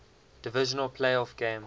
divisional playoff game